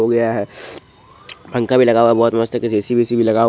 पंखा भी लगा हुआ है बहुत मस्त है कुछ ऐ_सी वैसी भी लगा हुआ होगा क्योंकि ये --]